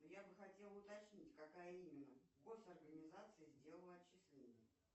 я бы хотела уточнить какая именно гос организация сделала отчисление